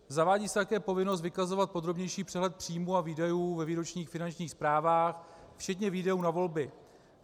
Zavádí se také povinnost vykazovat podrobnější přehled příjmů a výdajů ve výročních finančních zprávách včetně výdajů na volby.